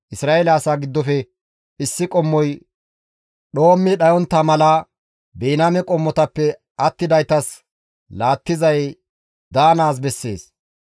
Isra7eele asaa giddofe issi qommoy dhoommi dhayontta mala, Biniyaame qommotappe attidaytas laattizay daanaas bessees.